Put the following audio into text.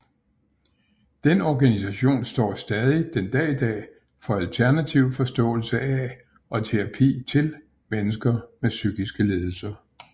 Den organisation står stadig den dag i dag for alternativ forståelse af og terapi til mennesker med psykiske lidelser